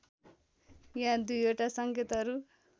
यहाँ दुईवटा सङ्केतहरू